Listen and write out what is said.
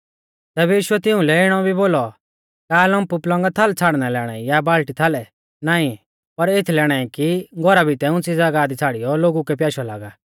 तैबै यीशुऐ तिउंलै इणौ भी बोलौ का लम्प पलंगा थाल छ़ाड़ना लै आणाई या बाल्टी थाल नाईं पर एथलै आणाई कि घौरा भितै उंच़ी ज़ागाह दी छ़ाड़ियौ लोगु कै प्याशौ लागा